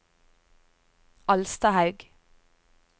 Alstahaug